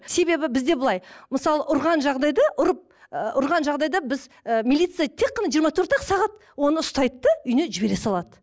себебі бізде былай мысалы ұрған жағдайда ұрып ы ұрған жағдайда біз ы милиция тек қана жиырма төрт ақ сағат оны ұстайды да үйіне жібере салады